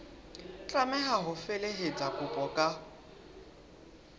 tlameha ho felehetsa kopo ka